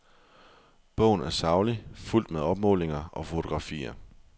Bogen er saglig, fuldt med opmålinger og fotografier.